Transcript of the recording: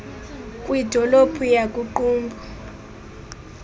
kwidolophu yaku qumbu